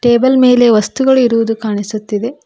Table ಮೇಲೆ ವಸ್ತುಗಳು ಇರುವುದು ಕಾಣಿಸುತ್ತಿದೆ.